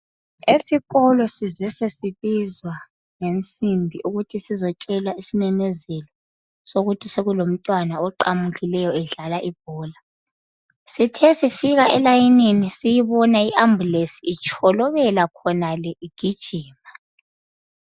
Esikolo sizwe sesibizwa ngensimbi. Ukuthi sizotshelwa isimemezelo, sokuthi sekulomntwana oqamukileyo, edlala ibhola. Sithe sifika elayinini,, sayibona i-ambulance itsholobela khonale, igijima.